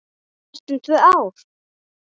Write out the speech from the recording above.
Næstum tvö ár!